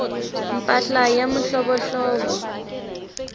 mpahla ya mihlovohlovo